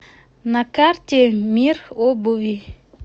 на карте мир обуви